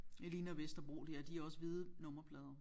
Det ligner Vesterbro det her de har også hvide nummerplader